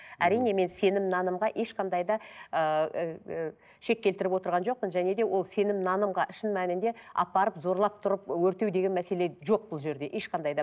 әрине мен сенім нанымға ешқандай да ыыы шек келтіріп отырған жоқпын және де ол сенім нанымға шын мәнінде апарып зорлап тұрып өртеу деген мәселе жоқ бұл жерде ешқандай да